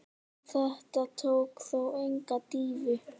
Þetta tók þó enga dýfu.